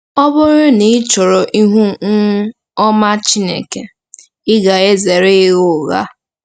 Ọ bụrụ na ị chọrọ ihu um ọma Chineke, ị ga-ezere ịgha ụgha.